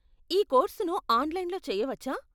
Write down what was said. ఈ కోర్సును ఆన్లైన్లో చేయవచ్చా?